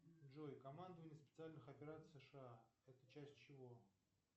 джой командование специальный операций сша это часть чего